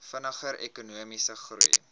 vinniger ekonomiese groei